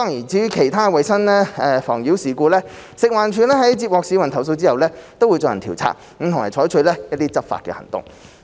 至於其他衞生妨擾事故，食環署在接獲市民投訴後會進行調查，並採取執法行動。